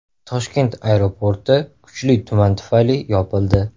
Toshkent aeroporti kuchli tuman tufayli yopildi.